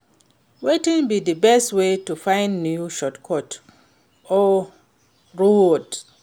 Wetin be di best way to find new shortcuts or routes?